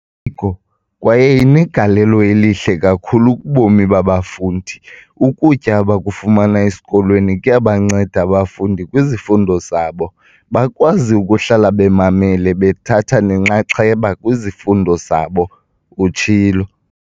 "eziko kwaye inegalelo elihle kakhulu kubomi babafundi. Ukutya abakufumana esikolweni kuyabanceda abafundi kwizifundo zabo, bakwazi ukuhlala bemamele bethatha nenxaxheba kwizifundo zabo," utshilo.